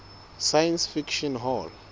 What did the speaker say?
science fiction hall